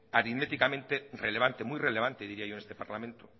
aritméticamente relevante muy relevante diría yo en este parlamento